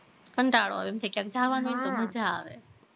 કંટાળો આવે એમ થાય કે ક્યાંક જવાનું હોય ને તો મજા આવે